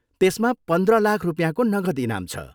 त्यसमा पन्ध्र लाख रुपियाँको नगद इनाम छ।